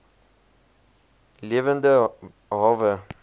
v lewende hawe